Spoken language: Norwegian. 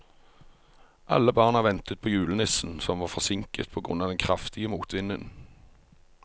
Alle barna ventet på julenissen, som var forsinket på grunn av den kraftige motvinden.